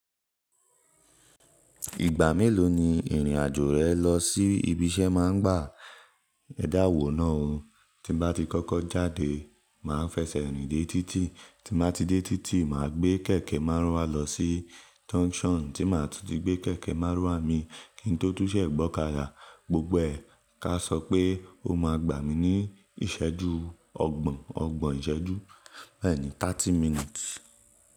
Ìgbà mélòó ni irinajo re lọ sí ibi iṣẹ maa n gbà Ẹ dáwòó náà o. Tí n bá ti kọ́kọ́ jáde, mà á fẹsẹ̀ rìn dé títì. Tí mo bá ti dé títì, mà á gbé kẹ̀kẹ́ márúwá lọ sí junction. Tí maa tuti gbé kẹ̀kẹ́ márúwá mi, kí n tó tún ṣẹ̀ gbọ́kada Gbogbo ẹ, ká sọ pé o máa gbà mí ní ìsẹ́jú ọgbọ̀n, ọgbọ̀n ìsẹ́jú bẹ́ẹ̀ ni 30 minutes.